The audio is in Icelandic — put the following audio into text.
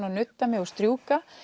að nudda mig og strjúka